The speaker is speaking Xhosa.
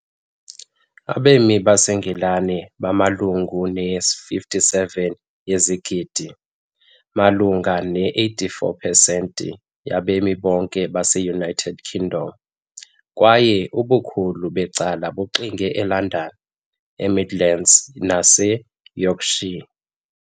Abemi baseNgilani bamalunga ne-57 yezigidi, malunga ne-84 pesenti yabemi bonke base-United Kingdom, kwaye ubukhulu becala bugxile eLondon, eMidlands naseYorkshire.